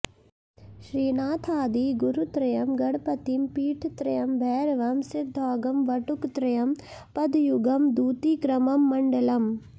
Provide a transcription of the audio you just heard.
श्रीनाथादि गुरुत्रयं गणपतिं पीठत्रयं भैरवं सिद्धौघं वटुकत्रयं पदयुगं दूतीक्रमं मण्डलम्